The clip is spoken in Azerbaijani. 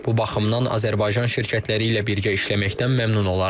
Bu baxımdan Azərbaycan şirkətləri ilə birgə işləməkdən məmnun olarıq.